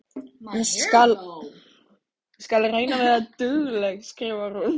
Ég skal reyna að vera dugleg, skrifar hún.